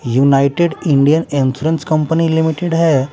United Indian insurance company limited है।